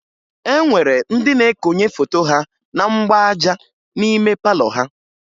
E nwere ndị na-ekonye foto ha na mgbaaja n'ime palọ ha